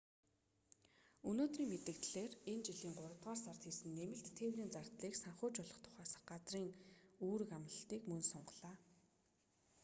өнөөдрийн мэдэгдлээр энэ жилийн гуравдугаар сард хийсэн нэмэлт тээврийн зардлыг санхүүжүүлэх тухай засгийн газрын үүрэг амлалтыг мөн сунгалаа